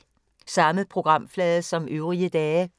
Samme programflade som øvrige dage